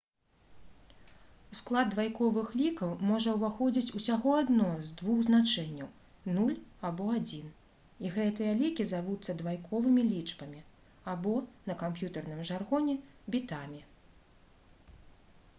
у склад двайковых лікаў можа ўваходзіць усяго адно з двух значэнняў — 0 або 1 і гэтыя лікі завуцца двайковымі лічбамі або на камп'ютэрным жаргоне бітамі